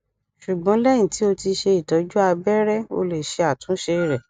ṣugbọn lẹhin ti o ti ṣe itọju abẹrẹ o le ṣe atunṣe rẹ